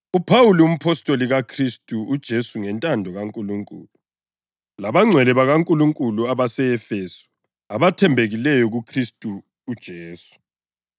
UPhawuli, umpostoli kaKhristu uJesu ngentando kaNkulunkulu, Lakwabangcwele bakaNkulunkulu abase-Efesu, abathembekileyo kuKhristu uJesu: